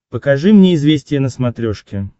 покажи мне известия на смотрешке